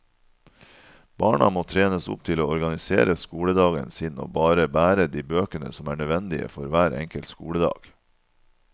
Barna må trenes opp til å organisere skoledagen sin og bare bære de bøkene som er nødvendige for hver enkelt skoledag.